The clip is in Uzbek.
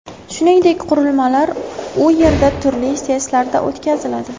Shuningdek, qurilmalar u yerda turli testlardan o‘tkaziladi.